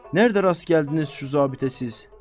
Nərdə rast gəldiniz şu zabitə siz?